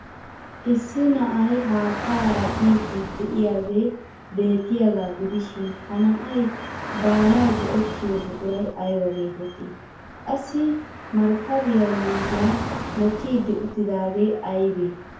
Issi na'ay haattaara biiddi de'iyaagee beettiyaagaa gidishin ha na'ay baanawu go'ettiyo buquray aybaa geettettii? Qassi markkabiya yuushuwan mokkidi uttidaagee aybee?